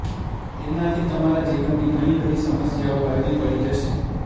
તેનાથી તમારા જીવનની ઘણી બધી સમસ્યાઓ હળવી પડી જશે